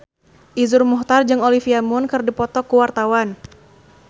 Iszur Muchtar jeung Olivia Munn keur dipoto ku wartawan